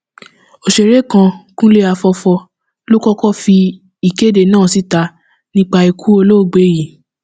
ọsẹrẹ kan kúnlé àfọfọ ló kọkọ fi ìkéde náà síta nípa ikú olóògbé yìí